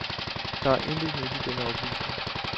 Der er intet nyt i den oplysning.